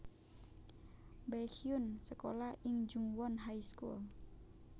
Baekhyun sékolah ing Jungwon High School